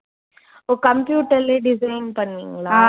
ஓ computer லயே design பண்ணுவீங்களா?